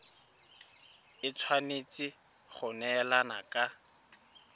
e tshwanetse go neelana ka